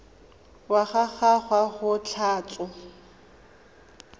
wa ga gagwe go tlhotswe